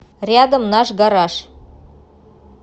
рядом наш гараж